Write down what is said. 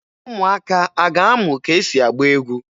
Ụmụaka a a ga-amụ ka e si agba egwu?